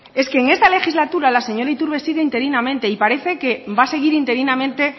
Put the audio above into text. es que en esta legislatura la señora iturbe sigue interinamente y parece que va a seguir interinamente